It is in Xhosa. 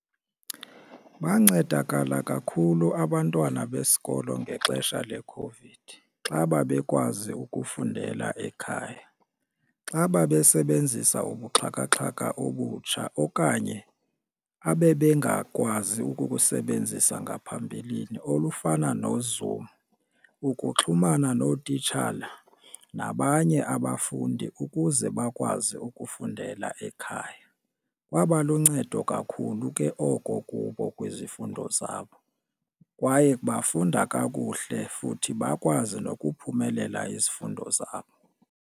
Bancedakala kakhulu abantwana besikolo ngexesha leCOVID xa babekwazi ukufundela ekhaya, xa babesebenzisa ubuxhakaxhaka obutsha okanye abengakwazi ukukusebenzisa ngaphambilini olufana noZoom ukuxhumana nootitshala nabanye abafundi ukuze bakwazi ukufundela ekhaya. Kwaba luncedo kakhulu ke oko kubo kwizifundo zabo kwaye bafunda kakuhle futhi bakwazi nokuphumelela izifundo zabo.